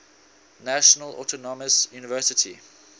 national autonomous university